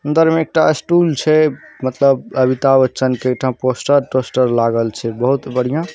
अंदर में एकटा स्टूल छै। मतलब अमिताभ बच्चन के एठा पोस्टर- टोस्टर लागल छै बहुत बढ़िया --